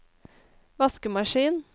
vaskemaskin